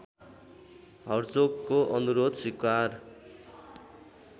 हर्जोगको अनुरोध स्वीकार